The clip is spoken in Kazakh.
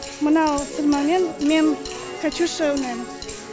мынау сырмамен мен катюша ойнайм